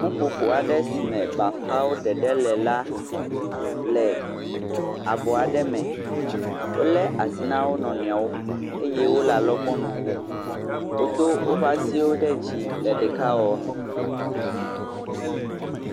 Ƒuƒoƒo aɖe si me bafawo ɖeɖe le la le abɔ aɖe me. Wolé asi na wo nɔnɔewo eye wole alɔgbɔnu kom. Wodo woƒe asi ɖe dzii le ɖekawɔwɔme.